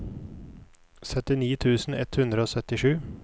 syttini tusen ett hundre og syttisju